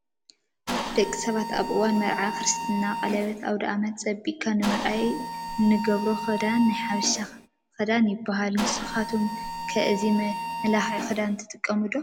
ደቂ ሰባት አብ እዋን መርዓ፣ ክርስትና፣ ቀለበት፣ አውዳአመት ፀቢቅካ ንምውዓል እንገብሮ ክዳን ናይ ሓበሻ ክዳን ይበሃል። ንስካትኩም ከ እዚ መመላክዒ ክዳን ትጥቀምሉ ዶ?